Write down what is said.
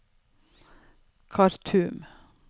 Khartoum